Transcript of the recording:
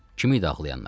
Kim idi ağlayanlar?